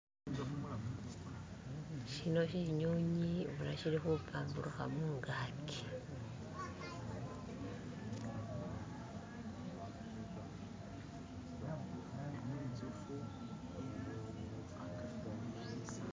Shino shinyonyi boona shili khupamburukha mungaki.